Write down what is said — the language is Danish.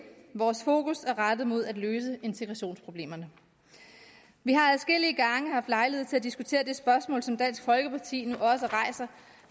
vores fokus er rettet mod at løse integrationsproblemerne vi har adskillige gange haft lejlighed til at diskutere det spørgsmål som dansk folkeparti nu også rejser